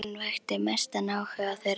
Fanginn vakti mestan áhuga þeirra.